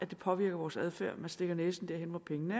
det påvirker vores adfærd man stikker næsen derhen hvor pengene